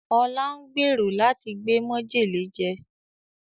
Ọlá ń gbèrò láti gbé mọ́jèlé jẹ